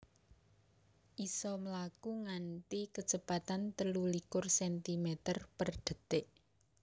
isa mlaku nganti kecepatan telu likur centimeter per detik